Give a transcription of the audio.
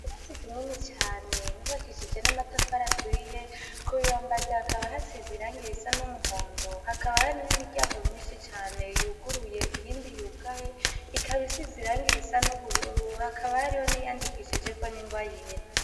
Irasi ikinini cane bavakishije n'amatafara aturiye ku bibambazi akaba hasi zirangire isa n'umuhondo hakaba hari n'imiryango myinshi cane yuguruye iyindi yugaye ikabaisi zirangira isa n'ubururu hakabahariho niyandikishijeko n'ingwa yera.